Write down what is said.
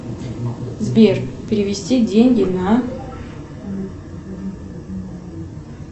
сбер перевести деньги на